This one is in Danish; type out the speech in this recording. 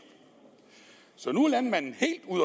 så nu er landmanden